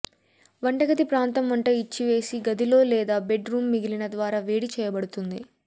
వంటగది ప్రాంతం వంట ఇచ్చివేసి గదిలో లేదా బెడ్ రూమ్ మిగిలిన ద్వారా వేడి చేయబడుతుంది